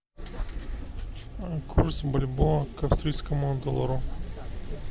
курс бальбоа к австрийскому доллару